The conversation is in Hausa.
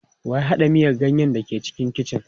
Wa ya haɗa miyan ganyen da ke cikin kicin.